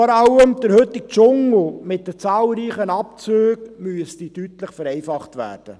Der heutige Dschungel mit den zahlreichen Abzügen müsste deutlich vereinfacht werden.